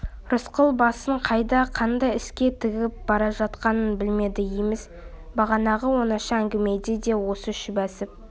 рысқұл басын қайда қандай іске тігіп бара жатқанын білмеді емес бағанағы оңаша әңгімеде де осы шүбәсін